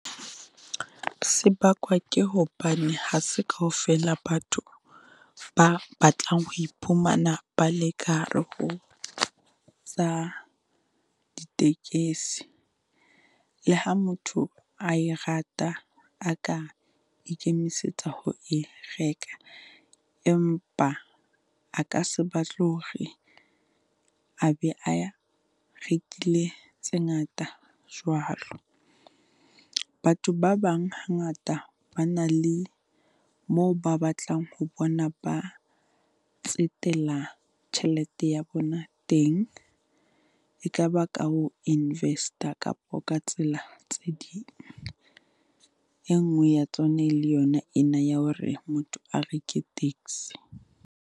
Se bakwa ke hobane ha se kaofela batho ba batlang ho iphumana ba le ka hare ho tsa ditekesi. Le ha motho a e rata, a ka ikemisetsa ho e reka, empa a ka se batle hore a be a ya rekile tse ngata jwalo. Batho ba bang hangata ba na le moo ba batlang ho bona ba tsetela tjhelete ya bona teng, e tlaba ka ho invest-a kapa ka tsela tse ding. E nngwe ya tsona e le yona ena ya hore motho a reke taxi.